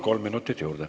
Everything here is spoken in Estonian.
Kolm minutit juurde.